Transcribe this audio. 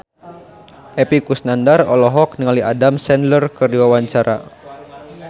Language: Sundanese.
Epy Kusnandar olohok ningali Adam Sandler keur diwawancara